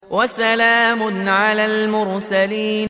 وَسَلَامٌ عَلَى الْمُرْسَلِينَ